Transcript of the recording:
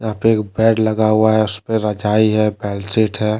यहां पे एक बेड लगा हुआ हैं उसपे रजाई हैं बेडशीट हैं।